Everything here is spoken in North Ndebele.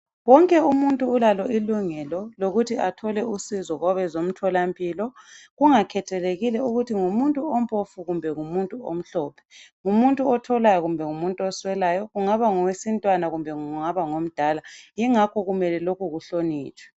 Wonke umuntu ulalo ilungelo lokuthi athole usizo kwabezomtholampilo kungakhathelekile ukuthi ngumuntu ompofu kumbe ngumuntu omhlophe ngumuthi otholayo kumbe ngumuntu oswelayo kungaba ngowesintwana kumbe kungaba ngomdala yingakho lokhu kumele kuhlonitshwe.